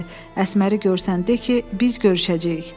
Əsməri görsən de ki, biz görüşəcəyik.